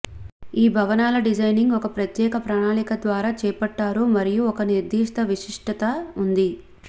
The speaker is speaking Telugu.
ఈ భవనాలు డిజైనింగ్ ఒక ప్రత్యేక ప్రణాళిక ద్వారా చేపట్టారు మరియు ఒక నిర్దిష్ట విశిష్టత ఉంది